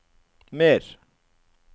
mer